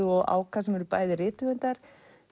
og Áka sem eru bæði rithöfundar